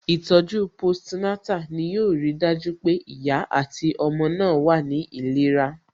Ìtọ̀ju post Natal ni yo ri dájú pé ìyá àti ọmọ náà wà ní ìlera